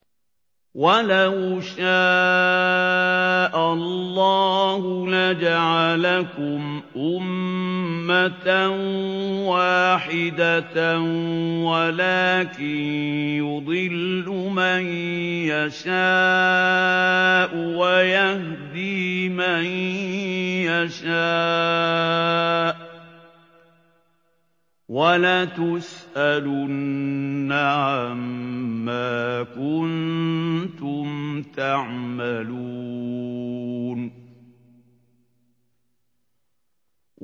وَلَوْ شَاءَ اللَّهُ لَجَعَلَكُمْ أُمَّةً وَاحِدَةً وَلَٰكِن يُضِلُّ مَن يَشَاءُ وَيَهْدِي مَن يَشَاءُ ۚ وَلَتُسْأَلُنَّ عَمَّا كُنتُمْ تَعْمَلُونَ